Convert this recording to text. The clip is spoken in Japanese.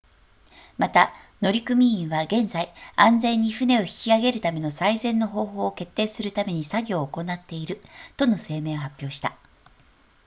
また乗組員は現在安全に船を引き上げるための最善の方法を決定するために作業を行っているとの声明を発表した